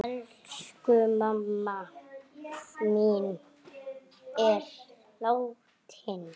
Elsku mamma mín er látin.